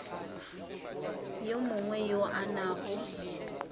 yo mongwe yo a nago